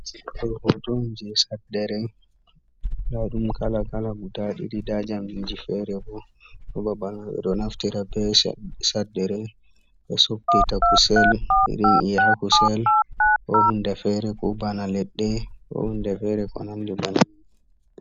Ɗo hoto on je saddere nda ɗum kala kala guda ɗiɗi nda jamdiji fere bo ɗo babal, ɓeɗo naftira be saddere ɓe soppita kusel, irin e'a ha kusel, ko hunde fere, ko bana leɗɗe, ko hunde fere ko nandi banin.